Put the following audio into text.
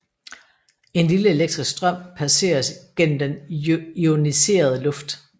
En lille elektrisk strøm passeres gennem den ioniserede luft